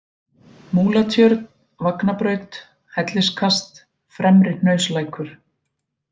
Múlatjörn, Vagnabraut, Helliskast, Fremri-Hnauslækur